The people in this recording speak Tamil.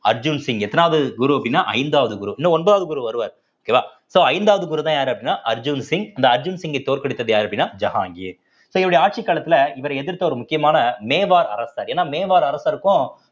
அர்ஜுன் சிங் எத்தணாவது குரு அப்படின்னா ஐந்தாவது குரு இன்னும் ஒன்பதாவது குரு வருவாரு okay வா so ஐந்தாவது குருதான் யாரு அப்படின்னா அர்ஜுன் சிங் இந்த அர்ஜுன் சிங்கை தோற்கடித்தது யாரு அப்படின்னா ஜஹான்கீர் so இவருடைய ஆட்சி காலத்துல இவரை எதிர்த்த ஒரு முக்கியமான மேவார் அரசர் ஏன்னா மேவார் அரசருக்கும்